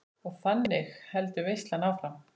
Og þannig heldur veislan áfram.